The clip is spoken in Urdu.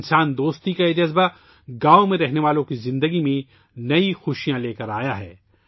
انسان دوستی کے اس جذبے سے گاؤوں میں رہنے والے لوگوں کی زندگیوں میں نئی خوشیاں آئی ہیں